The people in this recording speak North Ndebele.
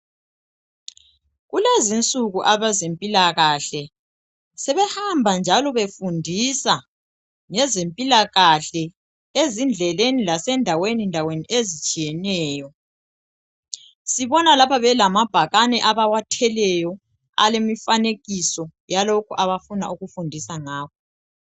Kulezinsuku abezempilakahle sebehamba njalo befundisa ngezempilakahle ezindleleni lase ndaweni ndaweni ezitshiyeneyo sibona lapha belamabhakane abawathweleyo alemifanekiso yalokhu abafuna ukufundisa ngakho.